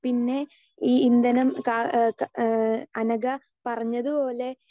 speaker 2 പിന്നെ ഈ ഇന്ധനം ഇഹ് ഇഹ് അനഘ പറഞ്ഞതുപോലെ